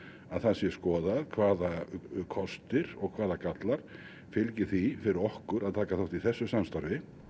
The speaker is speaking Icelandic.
að skoða hvaða kostir og gallar gallar fylgi því fyrir okkur að taka þátt í þessu samstarfi